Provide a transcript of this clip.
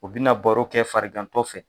O bɛna baro kɛ farigantɔ fɛ